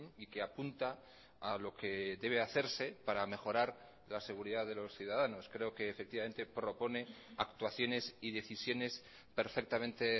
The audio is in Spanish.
y que apunta a lo que debe hacerse para mejorar la seguridad de los ciudadanos creo que efectivamente propone actuaciones y decisiones perfectamente